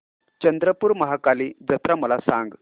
चंद्रपूर महाकाली जत्रा मला सांग